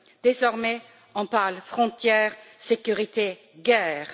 Désormais, on parle frontières, sécurité, guerre.